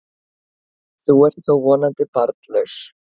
Þú ert þó vonandi barnlaus?